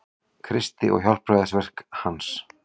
Kristi og hjálpræðisverki hans.